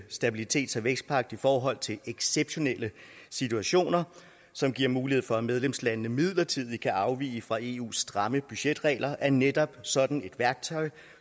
stabilitets og vækstpagt i forhold til exceptionelle situationer som giver mulighed for at medlemslandene midlertidigt kan afvige fra eus stramme budgetregler er netop sådan et værktøj